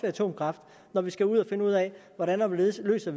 atomkraft når vi skal ud at finde ud af hvordan og hvorledes vi løser